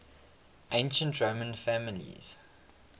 ancient roman families